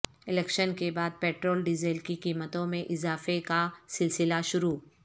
election کے بعد petrol diesel کی قیمتوں میں اضافہ کا سلسہ شروع